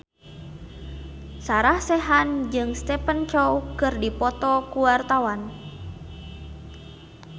Sarah Sechan jeung Stephen Chow keur dipoto ku wartawan